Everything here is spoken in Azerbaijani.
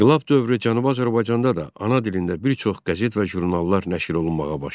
İnqilab dövrü Cənubi Azərbaycanda da ana dilində bir çox qəzet və jurnallar nəşr olunmağa başladı.